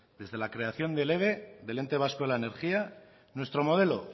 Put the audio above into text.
desde la creación del eve del ente vasco de la energía nuestro modelo